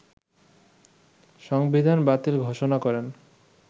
সংবিধান বাতিল ঘোষণা করেন